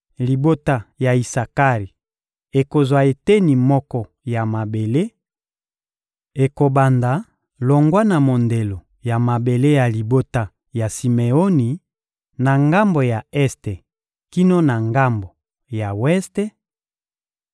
Libota ya Isakari ekozwa eteni moko ya mabele: ekobanda longwa na mondelo ya mabele ya libota ya Simeoni na ngambo ya este kino na ngambo ya weste;